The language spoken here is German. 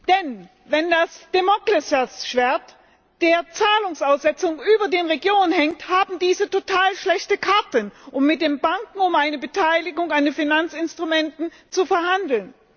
Denn, wenn das Damokles Schwert der Zahlungsaussetzung über den Regionen hängt, haben diese äußerst schlechte Karten, um mit den Banken über eine Beteiligung der Finanzinstrumente zu verhandeln.